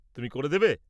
-তুমি করে দেবে?